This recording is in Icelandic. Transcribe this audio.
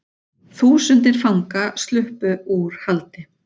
Þúsundir fanga sluppu úr haldi